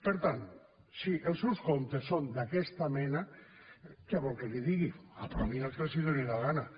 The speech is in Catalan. per tant si els seus comptes són d’aquesta mena què vol que li digui aprovin el que els doni la gana